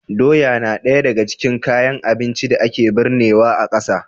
Doya na ɗaya daga cikin kayan abincin da ake birnewa a ƙasa.